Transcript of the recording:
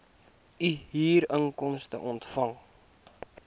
u huurinkomste ontvang